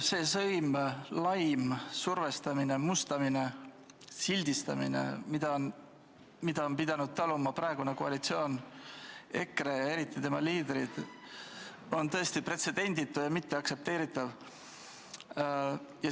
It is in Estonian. See sõim, laim, survestamine, mustamine, sildistamine, mida on pidanud taluma praegune koalitsioon, EKRE ja eriti tema liidrid, on tõesti pretsedenditu ja mitteaktsepteeritav.